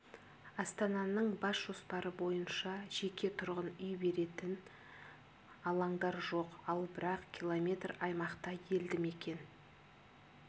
астананың бас жоспары бойынша жеке тұрғын үй беретін алаңдар жоқ ал бірақ километр аймақта елді мекен